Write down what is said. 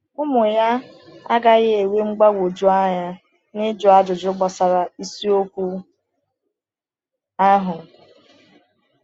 Ụmụ ya agaghị enwe mgbagwoju anya n’ịjụ ajụjụ gbasara isiokwu ahụ.